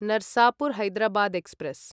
Narsapur Hyderabad express